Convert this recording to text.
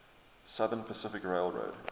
southern pacific railroad